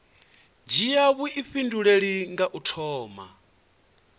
dzhia vhuifhinduleli kha u thoma